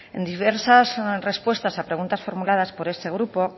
en diversas respuestas a preguntas formuladas por este grupo